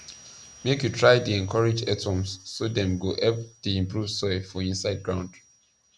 make you try dey encourage earthworms so dem go help dey improve soil for inside ground